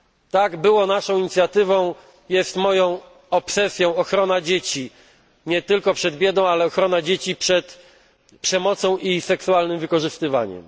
Tak, naszą inicjatywą była, a moją obsesją jest ochrona dzieci, nie tylko przed biedą, ale ochrona dzieci przed przemocą i seksualnym wykorzystywaniem.